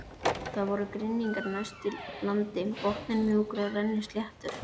Það voru grynningar næst landi, botninn mjúkur og rennisléttur.